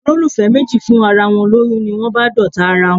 Olólùfẹ́ méjì fún ara wọn lóyún, ni wón bá d'ọ̀tá ara wón.